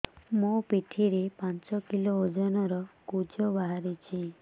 ମୋ ପିଠି ରେ ପାଞ୍ଚ କିଲୋ ଓଜନ ର କୁଜ ବାହାରିଛି